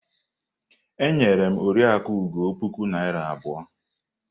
E nyere m Oriakụ Ugo puku naira abụọ.